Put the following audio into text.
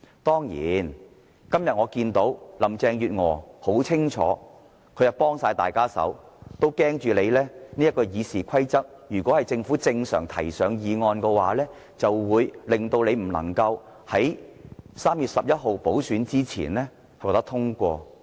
當然，我今天看到林鄭月娥明顯地是完全協助建制派，如果由政府正常地提交法案，恐怕他們修訂《議事規則》的議案便不能夠在3月11日補選前獲得通過。